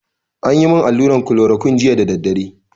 Anyi mun allura kolorokuine jiya da daddare